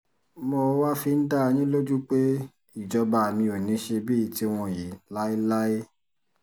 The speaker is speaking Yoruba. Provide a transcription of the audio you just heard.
mo wáá fi ń dá dá yín lójú pé ìjọba mi ò ní í ṣe bíi tiwọn yìí láéláé